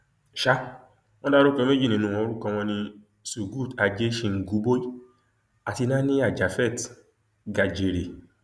sá wọn dárúkọ méjì nínú wọn orúkọ wọn ní surgut ajé shinguboi àti nànìyá japhet gajere